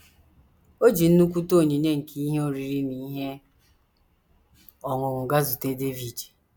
O ji nnukwute onyinye nke ihe oriri na ihe ọṅụṅụ gaa zute Devid.